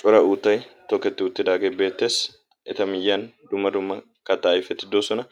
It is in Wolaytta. Cora uutay tooketti uttidaagee beettees. eta miyyan dumma dumma kaattay petiddoosona